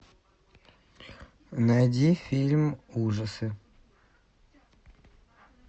найди фильм ужасы